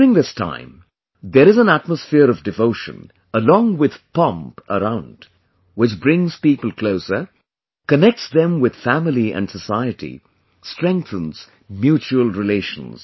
During this time, there is an atmosphere of devotion along with pomp around, which brings people closer, connects them with family and society, strengthens mutual relations